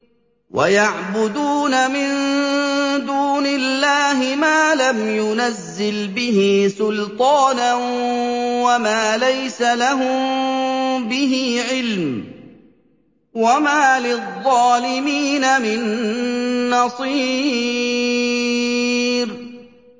وَيَعْبُدُونَ مِن دُونِ اللَّهِ مَا لَمْ يُنَزِّلْ بِهِ سُلْطَانًا وَمَا لَيْسَ لَهُم بِهِ عِلْمٌ ۗ وَمَا لِلظَّالِمِينَ مِن نَّصِيرٍ